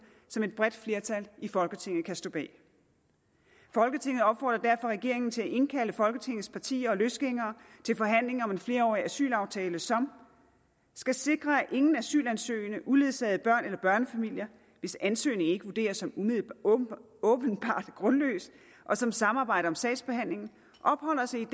som et bredt flertal i folketinget kan stå bag folketinget opfordrer derfor regeringen til at indkalde folketingets partier og løsgængere til forhandling om en flerårig asylaftale som skal sikre at ingen asylsøgende uledsagede børn eller børnefamilier hvis ansøgning ikke vurderes som åbenbart grundløs og som samarbejder om sagsbehandlingen opholder sig i et